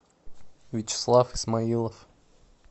вячеслав исмаилов